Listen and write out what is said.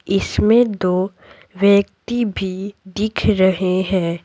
इसमें दो व्यक्ति भी दिख रहे हैं।--